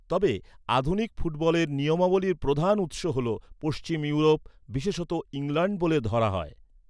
তবে, আধুনিক ফুটবলের নিয়মাবলীর প্রধান উৎস হল পশ্চিম ইউরোপ, বিশেষত ইংল্যাণ্ড বলে ধরা হয়।